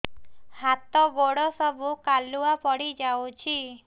ହାତ ଗୋଡ ସବୁ କାଲୁଆ ପଡି ଯାଉଛି